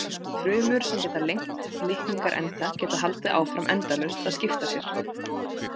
Frumur sem geta lengt litningaenda geta haldið áfram endalaust að skipta sér.